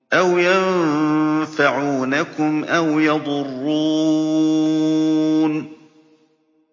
أَوْ يَنفَعُونَكُمْ أَوْ يَضُرُّونَ